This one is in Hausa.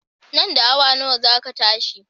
Nan da awa nawa za ka tashi?